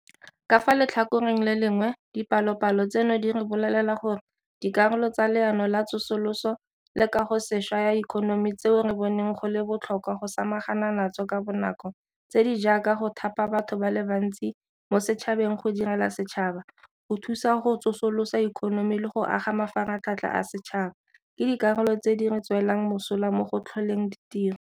Ka fa letlhakoreng le lengwe, dipalopalo tseno di re bolelela gore dikarolo tsa Leano la Tsosoloso le Kagosešwa ya Ikonomi tseo re boneng go le botlhokwa go samagana natso ka bonako tse di jaaka go thapa batho ba le bantsi mo setšhabeng go direla setšhaba, go thusa go tsosolosa ikonomi le go aga mafaratlhatlha a setšhaba ke dikarolo tse di re tswelang mosola mo go tlholeng ditiro.